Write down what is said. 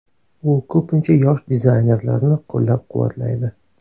U ko‘pincha yosh dizaynerlarni qo‘llab-quvvatlaydi.